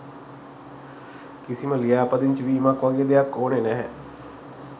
කිසිම ලියාපදිංචි වීමක් වගේ දෙයක් ඕනෙ නැහැ.